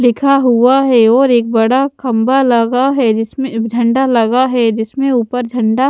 लिखा हुआ है और एक बड़ा खंभा लगा है जिसमें झंडा लगा है जिसमें ऊपर झंडा--